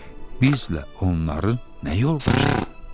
Bizlə onların nə yoldaşlığı?